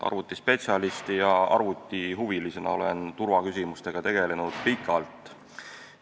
Arvutispetsialisti ja arvutihuvilisena olen turvaküsimustega tegelenud pikalt.